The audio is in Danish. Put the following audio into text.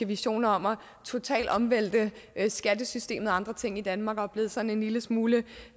visioner om totalt at omvælte skattesystemet og andre ting i danmark og blive sådan en lille smule